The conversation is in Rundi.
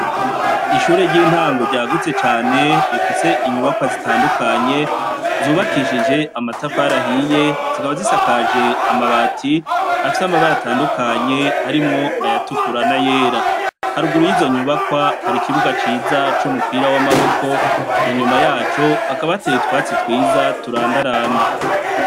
Ishure ry,intango ryagutse cane rifise inyubakwa zitandukanye zubakishije amatafari ahiye zikaba zisakaje amabati afise amabara atandukanye harimwo ayatukura na yera haruguru yizonyubakwa harikibuga ciza cumupira wamaboko inyuma yaco hakaba hateye utwatsi twiza turandaranda.